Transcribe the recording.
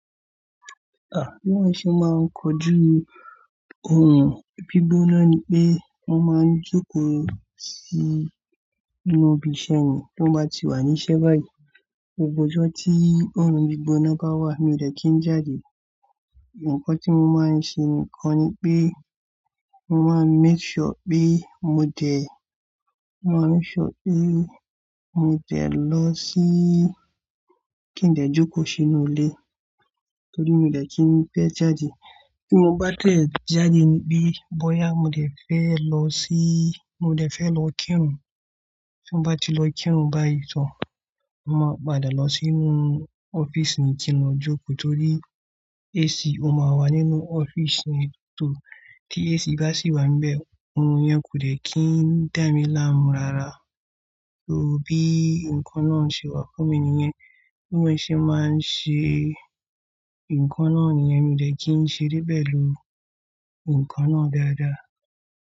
Bí wọ́n ṣe máa ń kojú ohun bígbóná ni pé wọ́n máa ń jókòó sí inú ibi-iṣẹ́ ni. Tí wọ́n bá ti wà ní iṣẹ́ báyìí, gbogbo ọjọ́ tí ohun bígbóná bá wà, mi ò dẹ̀ kí n jáde. Ǹjẹ́ nǹkan tí mo máa ń ṣe nìkan ni pé mo máa ń make sure pé mo dẹ̀, mo máa ń sure pé mo dẹ̀ lọ síí kí n lè jókòó sínú ilé. Torí mi ò dẹ̀ kí ń fẹ́ jáde. Tí mo bá tẹ̀ jáde níbí, bóyá mo dẹ̀ fẹ́ lọ síí, mo dẹ̀ fẹ́ lọ kírun. Tí mo bá ti lọ kírun báyìí tán, mo máa padà lọ sínú offices ni kí n lọ jókòó torí AC ó máa wà nínú ọ́fíísì ni. Torí tí AC bá sì wà níbẹ̀, orun yẹn kò dẹ̀ kí ń dá mí láàmú rara. To bí nǹkan náà ń ṣe wà fún mi nìyẹn, bí wọ́n ṣe máa ń ṣe nǹkan náà nìyẹn, mi ò dẹ̀ kí ń ṣe débẹ̀ ló nǹkan náà dáadáa.